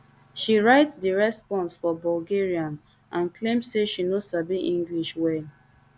she write di response for bulgarian and claim say she no sabi english well